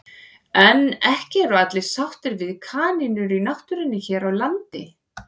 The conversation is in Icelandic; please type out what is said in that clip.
En ekki eru allir sáttir við kanínur í náttúrunni hér á landi.